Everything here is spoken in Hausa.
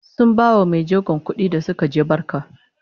sun bawa maijegon kuɗi da Suka je barka